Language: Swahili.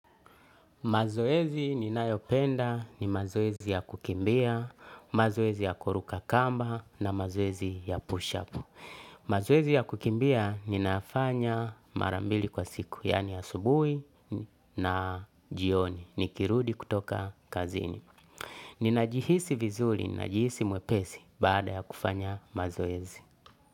Mazoezi ni nayopenda ni mazoezi ya kukimbia, mazoezi ya kuruka kamba na mazoezi ya push-up. Mazoezi ya kukimbia ninafanya marambili kwa siku, yani asubuhi na jioni, nikirudi kutoka kazini. Ninajihisi vizuri, ninajihisi mwepesi baada ya kufanya mazoezi.